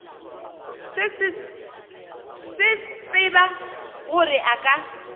se tsebe gore a ka